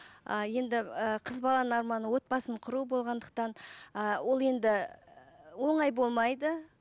ы енді ы қыз баланың арманы отбасын құру болғандықтан ы ол енді оңай болмайды